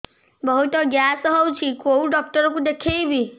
ବହୁତ ଗ୍ୟାସ ହଉଛି କୋଉ ଡକ୍ଟର କୁ ଦେଖେଇବି